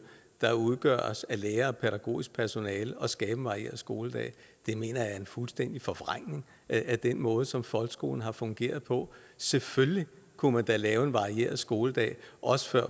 der udgøres af lærere og pædagogisk personale at skabe en varieret skoledag mener jeg er en fuldstændig forvrængning af den måde som folkeskolen har fungeret på selvfølgelig kunne man da lave en varieret skoledag også før